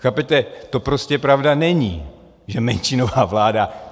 Chápete, to prostě pravda není, že menšinová vláda.